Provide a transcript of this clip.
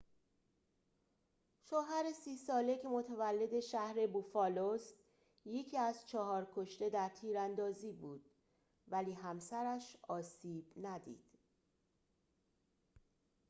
شوهر ۳۰ ساله که متولد شهر بوفالو است یکی از چهار کشته در تیراندازی بود ولی همسرش آسیب ندید